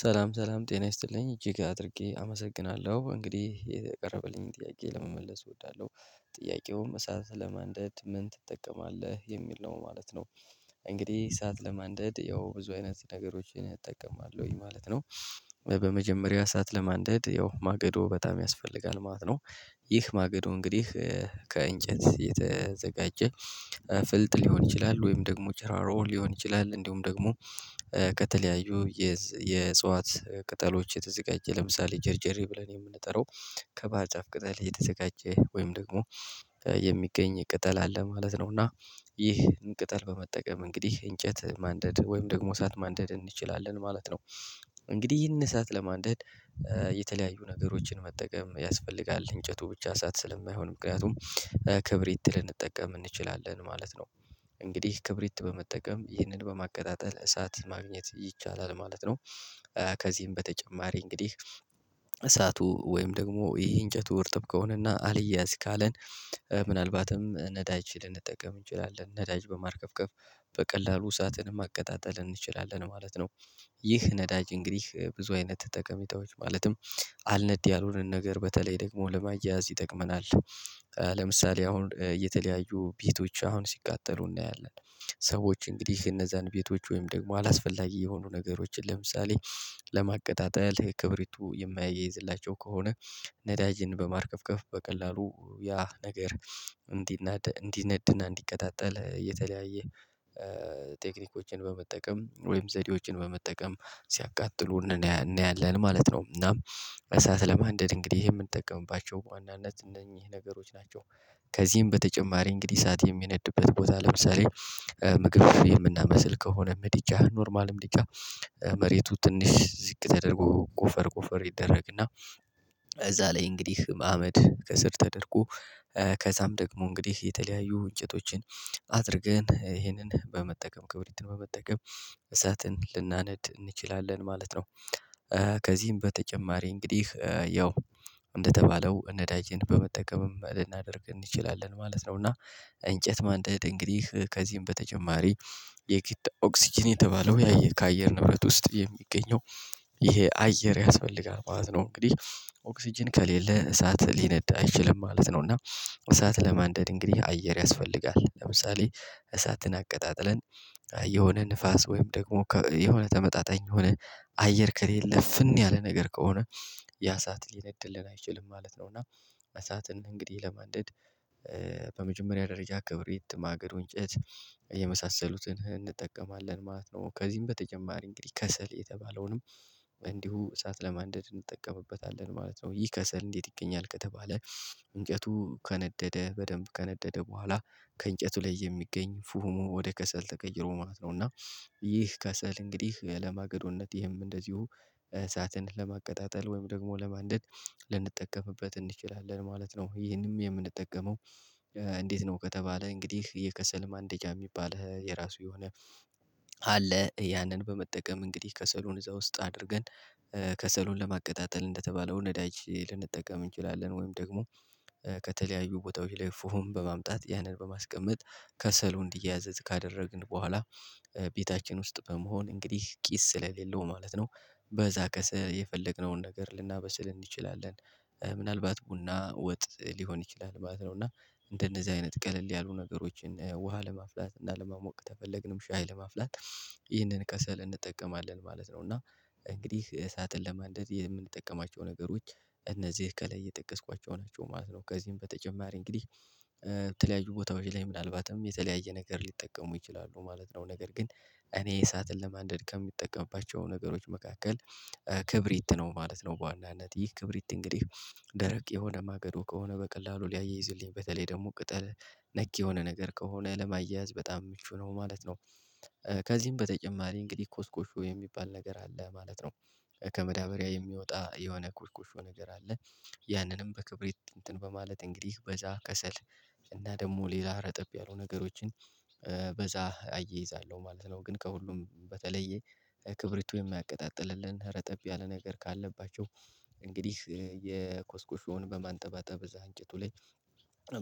ሰላም ሰላም ጤና ይስጥልኝ እጅግ አድርጌ አመሰግናለሁ እንግዲህ ይሄ የቀረበልኝን ጥያቄ ለመመለስ እወዳለሁ ጥያቄውም እሳት ለማንደድ ምን ትጠቀማለህ የሚል ነው ማለት ነው? እንግዲህ እሳት ለማንደድ ያው ብዙ አይነት ነገሮችን እጠቀማለሁኝ ማለት ነው። በመጀመሪያ ሰዓት ለማንደድ ያው ማገዶ በጣም ያስፈልጋል ማለት ነው። ይህ ማገዶ እንግዲህ ከእንጨት የተዘጋጀ ፍልጥ ሊሆን ይችላል ወይም ደግሞ ጭራሮ ሊሆን ይችላል እንዲሁም ደግሞ ከተለያዩ የእጽዋት ቅጠሎች የተዘጋጀ ለምሳሌ ጀርጀሬ ብለን የምንጠራው ከባህር ጫፍ ቅጠል የተዘጋጀ ወይም ደግሞ የሚገኝ ቅጠል አለ ማለት ነው። እና ይህን ቅጠል በመጠቀም እንግዲህ እንጨት ማንደድ ወይም ደግሞ ሰዓት ማንደድ እንችላለን ማለት ነው። እንግዲህ ዪህን እሳት ለማንደድ የተለያዩ ነገሮችን መጠቀም ያስፈልጋል እንጨቱ ብቻ እሳት ስለማይሆን ምክንያቱም ክብሪት ልንጠቀም እንችላለን ማለት ነው። እንግዲህ ክብሪት በመጠቀም ይህንን በማቀጣጠል እሳት ማግኘት ይቻላል ማለት ነው። ከዚህም በተጨማሪ እንግዲህ እሳቱ ወይም ደግሞ ይሄ እንጨቱ እርጥብ ከሆነና አልያዝ ካለን ምናልባትም ነዳጅ ልንጠቀም እንችላለን ነዳጅ በማርከፍከፍ በቀላሉ እሳትን ማቀጣጠል እንችላለን ማለት ነው። ይህ ነዳጅ እንግዲህ ብዙ አይነት ጠቀሜታዎች ማለትም አልነድ ያሉንን ነገር በተለይ ደግሞ ለማያያዝ ይጠቅመናል ለምሳሌ አሁን እየተለያዩ ቤቶች አሁን ሲቃጠሉ እናያለን። ሰዎች እንግዲህ እነዛን ቤቶች ወይም ደግሞ አላስፈላጊ የሆኑ ነገሮችን ለምሳሌ ለማቀጣጠል ክብሪቱ የማያይዝላቸው ከሆነ ነዳጅን በማርከፍከፍ በቀላሉ ያ ነገር እንዲነድና እንዲቀጣጠል የተለያየ ቴክኒኮችን በመጠቀም ወይም ዘዴዎችን በመጠቀም ሲያቃጥሉ እናያለን ማለት ነው። እናም እሳት ለማንደድ እንግዲህ የምንጠቀምባቸው በዋናነት እነኚህ ነገሮች ናቸው። ከዚህም በተጨማሪ እንግዲህ እሳት የሚነድበት ቦታ ለምሳሌ ምግቦችን የምናበስል ከሆነ ምድጃ ኖርማልም ምድጃ መሬቱ ትንሽ ዝቅ ተደርጎ ቆፈር ቆፈር ይደረግና እዛ ላይ እንግዲህ አመድ ከስር ተደርጎ ከዛም ደግሞ እንግዲህ የተለያዩ እንጨቶችን አድርገን ይሄንን በመጠቀም ክብሪትን በመጠቀም እሳትን ልናነድ እንችላለን ማለት ነው። ከዚህም በተጨማሪ እንግዲህ ያው እንደተባለው ነዳጅን በመጠቀምም ልናደርግ እንችላለን ማለት ነው እና እንጨት ማንደድ እንግዲህ ከዚህም በተጨማሪ የግድ ኦክስጅን የተባለው ያየ ከአየር ንብረት ውስጥ የሚገኘው ይሄ አየር ያስፈልጋል ማለት ነው እንግዲህ ኦክስጅን ከሌለ እሳት ሊነድ አይችልም ማለት ነው። እና እሳት ለማንደድ እንግዲህ አየር ያስፈልጋል ለምሳሌ እሳትን አቀጣጥለን የሆነ ንፋስ ወይም ደግሞ የሆነ ተመጣጣኝ የሆነ አየር ከሌለ እፍን ያለ ነገር ከሆነ ያ እሳት ሊነድድልን አይችልም ማለት ነው። እና አሳትን እንግዲህ ለማንደድ በመጀመሪያ ደረጃ ክብሪት ማገዶ እንጨት የመሳሰሉትን እንጠቀማለን ማለት ነው። ከዚህም በተጨማሪ እንግዲህ ከሰል የተባለውንም እንዲሁ እሳት ለማንደድ እንጠቀምበታለን ማለት ነው። ይህ ከሰል እንዴት ይገኛል ከተባለ እንጨቱ ከነደደ በደንብ ከነደደ በኋላ ከእንጨቱ ላይ የሚገኝ ፉሁሙ ወደ ከሰል ተቀይሮ ማለት ነው። እና ይህ ከሰል እንግዲህ ለማገዶነት ይሄም እንደዚሁ እሳትን ለማቀጣጠል ወይም ደግሞ ለማንደድ ልንጠቀምበት እንችላለን ማለት ነው። ይሄንም የምንጠቀመው እንዴት ነው ከተባለ? እንግዲህ የከሰልም ማንደጃ የሚባልህ የራሱ የሆነ አለ ያንን በመጠቀም እንግዲህ ከሰሉን እዛ ውስጥ አድርገን ከሰሉን ለማቀጣጠል እንደተባለው ነዳጅ ልንጠቀም እንችላለን ወይም ደግሞ ከተለያዩ ቦታዎች ላይ ፉሁም በማምጣት ያንን በማስቀመጥ ከሰሉ እንዲያያዝ ካደረግን በኋላ ቤታችን ውስጥ በመሆን እንግዲህ ጪስ ስለሌለው ማለት ነው። በዛ ከሰል የፈለግነውን ነገር ልናበስል እንችላለን ምናልባት ቡና ወጥ ሊሆን ይችላል ማለት ነው። እና እንደነዚህ አይነት ቀለል ያሉ ነገሮችን ውሃ ለማፍላት እና ለማሞቅ ተፈለግንም ሻይ ለማፍላት ይህንን ከሰል እንጠቀማለን ማለት ነው። እና እንግዲህ እሳትን ለማንደድ የምንጠቀማቸው ነገሮች እነዚህ ከላይ የጠቀስኳቸው ናቸው ማለት ነው። ከዚህም በተጨማሪ እንግዲህ በተለያዩ ቦታዎች ላይ ምናልባትም የተለያየ ነገር ሊጠቀሙ ይችላሉ ማለት ነው። ነገር ግን እኔ እሳትን ለማንደድ ከምጠቀምባቸው ነገሮች መካከል ክብሪት ነው ማለት ነው። በዋናነት ይህ ክብሪት እንግዲህ ደረቅ የሆነ ማገዶ ከሆነ በቀላሉ ሊያይዝልኝ በተለይ ደግሞ ቅጠል ነክ የሆነ ነገር ከሆነ ለማያያዝ በጣም ምቹ ነው ማለት ነው። ከዚህም በተጨማሪ እንግዲህ ኮስኮሾ የሚባል ነገር አለ ማለት ነው። ከማዳበሪያ የሚወጣ የሆነ ቆሽቆሾ ነገር አለ። ያንንም በክብርት እንትን በማለት እንግዲህ በዛ ከሰል እና ደግሞ ሌላ ረጠብ ያሉ ነገሮችን በዛ አያይዛለሁ ማለት ነው። ግን ከሁሉም በተለየ ክብሪቱ የማያቀጣጥልልን ረጠብ ያለ ነገር ካለባቸው እንግዲህ የኮስኮሾውን በማንጠባጠብ እዛ እንጭቱ ላይ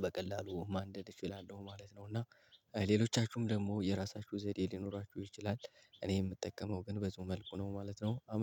በቀላሉ ማንደድ እችላለሁ ማለት ነው። እና ሌሎቻችሁም ደግሞ የራሳችሁ ዘዴ ሊኖራችሁ ይችላል እኔ የምጠቀመው ግን በዚሁ መልኩ ነው ማለት ነው